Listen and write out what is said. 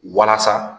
Walasa